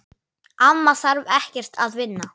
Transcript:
Amma þarf ekkert að vinna.